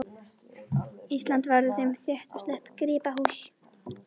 Ísland verður þeim rétt og slétt gripahús.